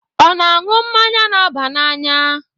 Ọ na-aṅụ mmanya na-aba n'anya?